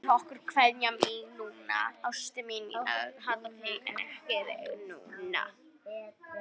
Berðu honum kveðju mína.